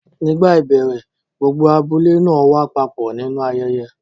Nígbà ìbẹ̀rẹ̀, gbogbo abúlé náà wá papọ̀ nínú ayẹyẹ.